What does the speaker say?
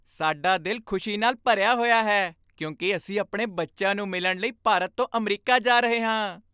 ਸਾਡਾ ਦਿਲ ਖੁਸ਼ੀ ਨਾਲ ਭਰਿਆ ਹੋਇਆ ਹੈ ਕਿਉਂਕਿ ਅਸੀਂ ਆਪਣੇ ਬੱਚਿਆਂ ਨੂੰ ਮਿਲਣ ਲਈ ਭਾਰਤ ਤੋਂ ਅਮਰੀਕਾ ਜਾ ਰਹੇ ਹਾਂ।